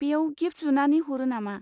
बेयाव गिफ्ट जुनानै हरो नामा?